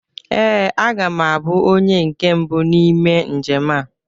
Ee, aga m abụ onye nke mbụ n'ime njem a.